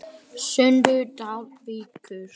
Sundlaug Dalvíkur